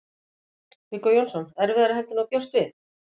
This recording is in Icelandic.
Viggó Jónsson: Erfiðara heldur en þú bjóst við?